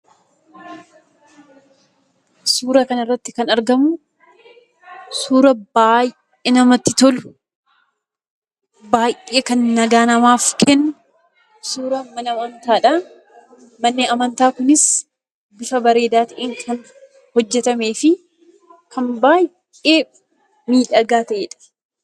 Suura kana irratti kan argamu suura baay'ee namatti tolu, baay'ee kan nagaa namaaf kennu suuraa mana amantaadha. Manni amantaa kunis bifa baay'ee bareedaa ta'een kan hojjetameefi kan baay'ee miidhagaa ta'edha.